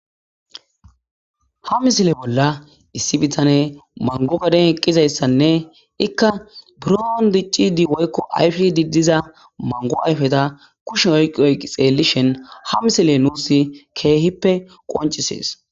Ha misile bolla issi bitane mangogaden eqqizayssanne ikka biroon diccidi woykko ayfidi diza mango ayfeta kushen oyqi oyi xeellishen ha misile nuus keehippe qoncisees